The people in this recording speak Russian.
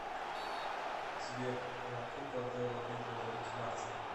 сбер ла копа де ла вида рики мартин